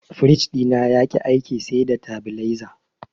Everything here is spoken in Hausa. Firij ɗina yaƙi aiki sai da tabileza.